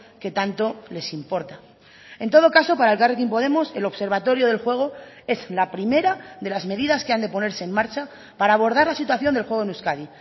que tanto les importa en todo caso para elkarrekin podemos el observatorio del juego es la primera de las medidas que han de ponerse en marcha para abordar la situación del juego en euskadi